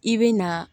I bɛ na